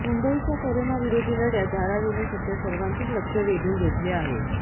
मुंबईच्या करोना विरोधी लढ्यात धारावीने सध्या सर्वांचेच लक्ष वेधून घेतले आहे